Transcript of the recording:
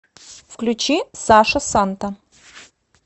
включи саша санта